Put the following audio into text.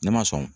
Ne ma sɔn